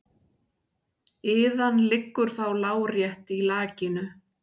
Iðan liggur þá lárétt í lakinu.